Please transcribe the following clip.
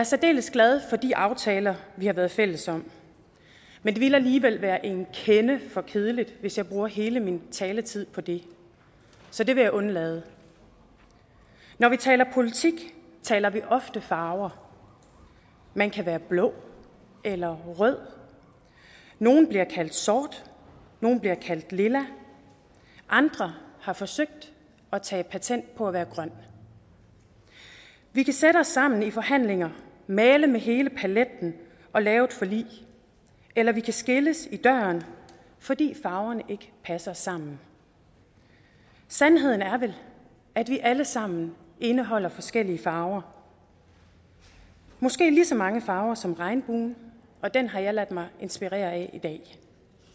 særdeles glad for de aftaler vi har været fælles om men det ville alligevel være en kende for kedeligt hvis jeg brugte hele min taletid på det så det vil jeg undlade når vi taler politik taler vi ofte om farver man kan være blå eller rød nogle bliver kaldt sorte nogle bliver kaldt lilla og andre har forsøgt at tage patent på at være grønne vi kan sætte os sammen i forhandlinger og male med hele paletten og lave et forlig eller vi kan skilles i døren fordi farverne ikke passer sammen sandheden er vel at vi alle sammen indeholder forskellige farver måske lige så mange farver som regnbuen og den har jeg ladet mig inspirere af i dag